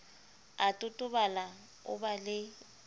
a totobala o ba le